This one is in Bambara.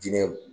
Diinɛ